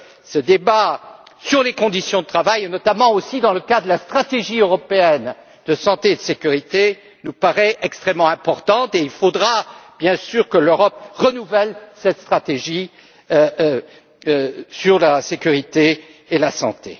Ce débat sur les conditions de travail, notamment dans le cadre de la stratégie européenne de santé et de sécurité, nous paraît extrêmement important et il faudra bien sûr que l'Europe renouvelle cette stratégie sur la sécurité et la santé.